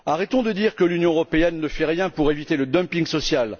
Arrêtons de dire que l'Union européenne ne fait rien pour éviter le dumping social.